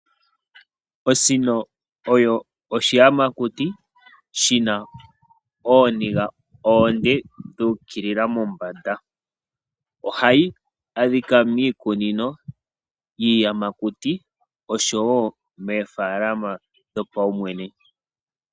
Osino oyo oshiyamakuti shina ooniga oonde dhuukilila mombanda. Ohayi adhika miikunino yiiyamakuti osho wo moofaalama dhopawumwene.